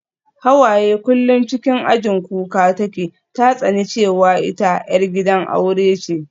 Hawaye kullum cikin ajin kuka take, ta tsani cewa ita 'yar gidan aure ce